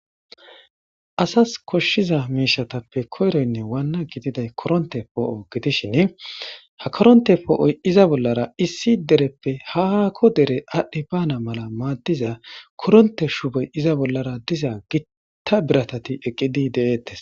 asas koshshiza miishatappe koyroynne waanna gididay koronte poo7o gidishin ha koronte poo7oy iza bollara issi dereppe hakko dere aadhdhi baana mala maaddiza koronte shubey iza bollara diza gitta biratati eqqidi de7eettes